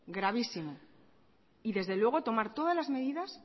y desde luego tomar todas las medidas